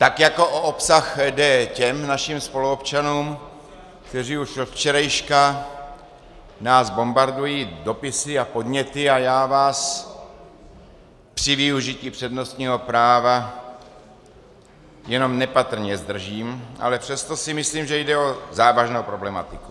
Tak jako o obsah jde těm našim spoluobčanům, kteří už od včerejška nás bombardují dopisy a podněty, a já vás při využití přednostního práva jenom nepatrně zdržím, ale přesto si myslím, že jde o závažnou problematiku.